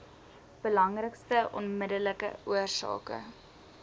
belangrikste onmiddellike oorsake